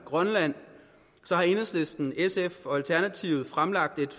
grønland har enhedslisten sf og alternativet fremsat et